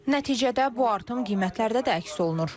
Nəticədə bu artım qiymətlərdə də əks olunur.